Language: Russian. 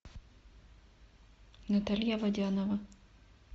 наталья водянова